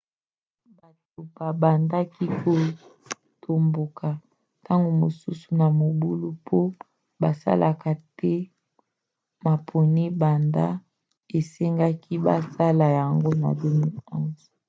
bato babandaki kotomboka ntango mosusu na mobulu po basalaka te maponi banda esengaki basala yango na 2011